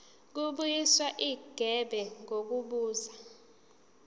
kubuyiswa igebe ngokubuza